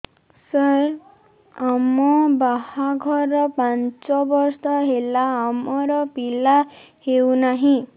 ସାର ଆମ ବାହା ଘର ପାଞ୍ଚ ବର୍ଷ ହେଲା ଆମର ପିଲା ହେଉନାହିଁ